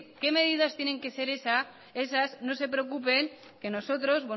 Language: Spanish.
qué medidas tienen que ser esas no se preocupen que nosotros